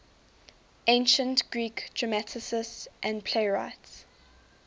ancient greek dramatists and playwrights